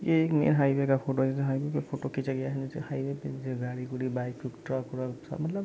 ये एक नया हाईवे का फोटो है जहाँ हाईवे का फोटो खींचा गया है नीचे हाईवे पे जहाँ गाड़ी उड़ी बाइक वाइक ट्रक वृक है मतलब--